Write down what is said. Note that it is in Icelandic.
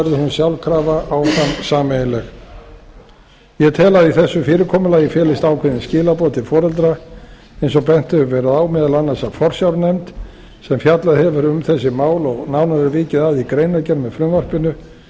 sjálfkrafa áfram sameiginleg ég tel að í þessu fyrirkomulagi felist ákveðin skilaboð til foreldra eins og bent hefur verið á meðal annars af forsjárnefnd sem fjallað hefur um þessi mál og nánar er vikið að í greinargerð með frumvarpinu